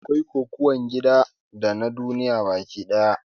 Da akwai Kokuwan gida dana duniya baki ɗaya